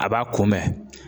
A b'a kun bɛn